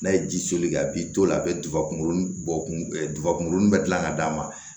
N'a ye ji soli a b'i to yen a bɛ duba kunkolo bɔ kunkolo bɛ gilan ka d'a ma